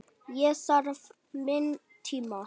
Ég þarf minn tíma.